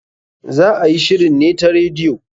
Za a yi shirin ne ta radiyo.